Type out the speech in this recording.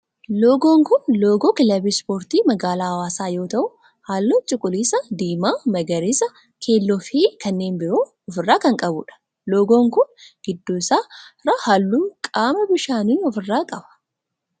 Loogoon kun loogoo kilabii ispoortii magaalaa hawaasaa yoo ta'u, hallu akka cuquliisa, diimaa, magariisa, keelloo fi kanneen biroo of irraa kan qabudha. Loogoon kun gidduu isaa irraa halluu qaama bishaanii of irraa qaba.